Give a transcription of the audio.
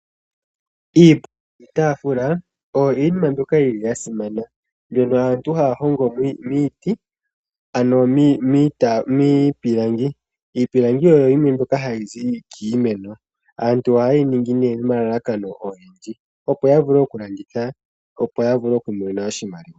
Iipundi niitaafula oyo iinima mbyoka yili ya simana mbyono aantu haa hongo miiti ano miipilangi. Iipilangi oyo yimwe mbyoka hayi zi kiimeno. Aantu ohaye yi ningi nee nomalalakano ogendji opo ya vule okulanditha opo ya vule okumona oshimaliwa.